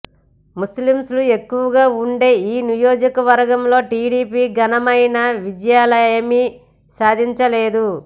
ముస్లింలు ఎక్కువగా ఉండే ఈ నియోజకవర్గంలో టీడీపీ ఘనమైన విజయాలనేమీ సాధించలేదు